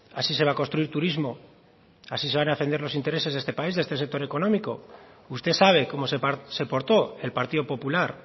así se va a construir turismo así se van a defender los intereses de este país de este sector económico usted sabe cómo se portó el partido popular